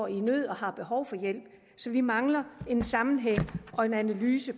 i nød og har behov for hjælp så vi mangler en sammenhæng og en analyse